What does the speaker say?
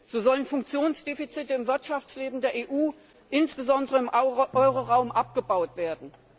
So sollen Funktionsdefizite im Wirtschaftsleben der EU, insbesondere im Euroraum, abgebaut werden.